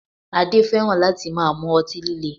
Adé fẹ́ràn láti máa mú ọtí líle